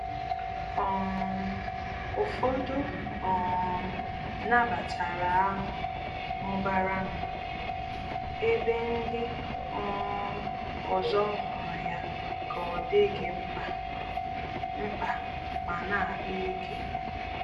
um Ụfọdụ um nabatara ahụ mụbara nụ, ebe ndị um ọzọ hụrụ ya ka ọ dịghị mkpa mkpa ma na-akpa ike